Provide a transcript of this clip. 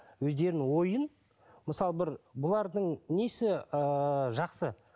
өздерінің ойын мысалы бір бұлардың несі ыыы жақсы